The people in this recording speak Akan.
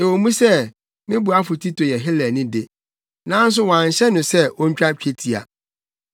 Ɛwɔ mu sɛ me boafo Tito yɛ Helani de, nanso wɔanhyɛ no sɛ ontwa twetia.